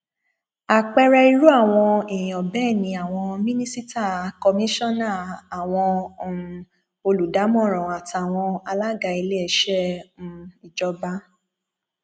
àpẹẹrẹ irú àwọn èèyàn bẹẹ ni àwọn mínísítà kọmíṣánná àwọn um olùdámọràn àtàwọn alága iléeṣẹ um ìjọba